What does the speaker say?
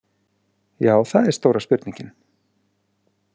Já, það er stóra spurningin.